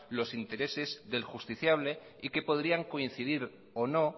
los intereses del justiciable y que podrían coincidir o no